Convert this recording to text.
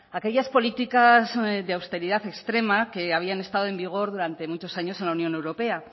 aquellas políticas de austeridad extrema que habían estado en vigor durante muchos años en la unión europea